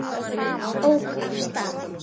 Ók af stað